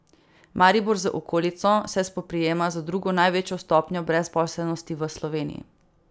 Maribor z okolico se spoprijema z drugo največjo stopnjo brezposelnosti v Sloveniji.